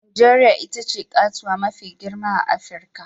Najeriya ita ce katuwa mafi girma a Afirka